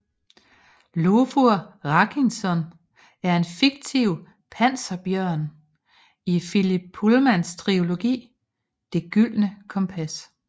Iofur Raknison er en fiktiv panserbjørn i Philip Pullmans trilogi Det gyldne kompas